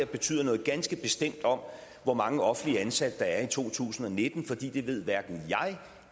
betyde noget ganske bestemt om hvor mange offentlige ansatte der er i to tusind og nitten for det det ved hverken jeg